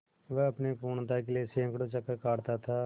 वह अपनी पूर्णता के लिए सैंकड़ों चक्कर काटता था